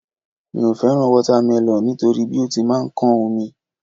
Mi ò fẹ́ràn wátámẹlọ̀ nítorí bí ó ti máa ń kán omi